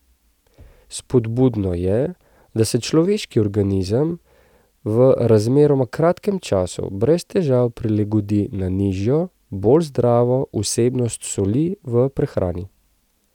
Spodbudno je, da se človeški organizem v razmeroma kratkem času brez težav prilagodi na nižjo, bolj zdravo vsebnost soli v prehrani.